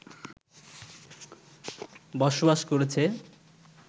বসবাস করেছে